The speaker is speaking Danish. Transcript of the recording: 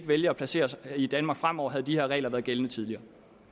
vælge at placere sig i danmark fremover havde de her regler været gældende tidligere